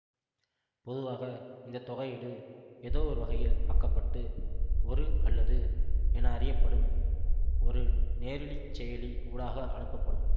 பொதுவாக இந்த தொகையீடு எதோ ஒரு வகையில் ஆகப்பட்டு ஒரு அல்லது என அறியப்படும் ஒரு நேரிலிச் செயலி ஊடாக அனுப்பப்படும்